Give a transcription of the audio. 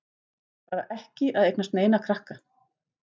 Bara ekki að eignast neina krakka.